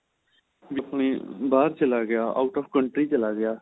B ਆਪਣੇ ਬਾਹਰ ਚਲਾ ਗਿਆ out ਓਫ country ਚਲਾ ਗਿਆ